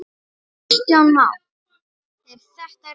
Kristján Már: Er þetta rétt?